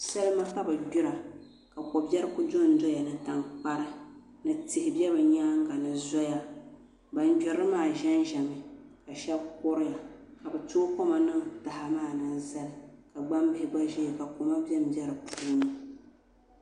Salima ka bi gbira ka ko biɛri ku dondoya ni tankpari ka tihi bɛ bi nyaanga ni zoya bin gbirili maa ʒɛnʒɛmi ka shab kuriya ka bi tooi koma niŋ taha maa ni n zali ka gbambihi gba ʒɛya ka koma bɛnbɛ di puuni